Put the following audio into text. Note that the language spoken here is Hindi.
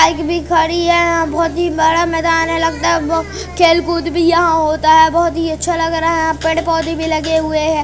बाइक भी खड़ी है यहाँ बहोत ही बड़ा मैदान है लगता है खेल कूद भी यहाँ होता है बहुत ही अच्छा लग रहा है यहाँ पेड़-पौधे भी लगे हुए है।